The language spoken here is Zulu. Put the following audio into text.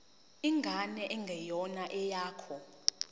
ingane engeyona eyakho